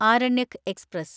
Aranyak express